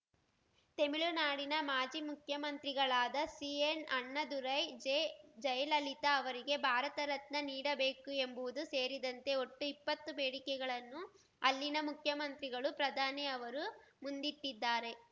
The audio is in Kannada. ತೆಮಿಳುನಾಡಿನ ಮಾಜಿ ಮುಖ್ಯಮಂತ್ರಿಗಳಾದ ಸಿಎನ್‌ಅಣ್ಣಾದುರೈ ಜೆಜಯಲಲಿತಾ ಅವರಿಗೆ ಭಾರತ ರತ್ನ ನೀಡಬೇಕು ಎಂಬುದು ಸೇರಿದಂತೆ ಒಟ್ಟು ಇಪ್ಪತ್ತು ಬೇಡಿಕೆಗಳನ್ನು ಅಲ್ಲಿನ ಮುಖ್ಯಮಂತ್ರಿಗಳು ಪ್ರಧಾನಿ ಅವರು ಮುಂದಿಟ್ಟಿದ್ದಾರೆ